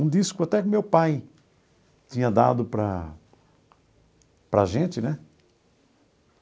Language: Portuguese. Um disco até do meu pai tinha dado para para gente, né?